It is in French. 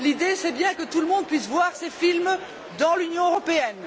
L'idée est que tout le monde puisse voir ces films dans l'Union européenne.